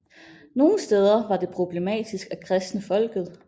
Nogle steder var det problematisk at kristne folket